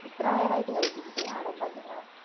ഇത്ര നേരായിട്ട് കഴിച്ചിട്ടില്ലേ ആട എന്താക്കുന്നാ?